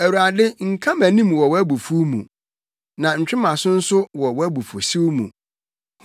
Awurade nka mʼanim wɔ wʼabufuw mu, na ntwe mʼaso nso wɔ wʼabufuwhyew mu.